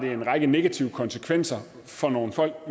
har en række negative konsekvenser for nogle folk